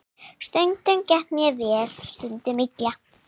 Stundum gekk vel, stundum illa.